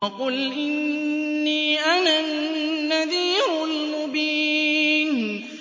وَقُلْ إِنِّي أَنَا النَّذِيرُ الْمُبِينُ